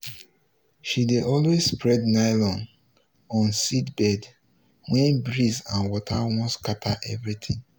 she dey always spread nylon on seed bed when breeze and water wan scatter everything.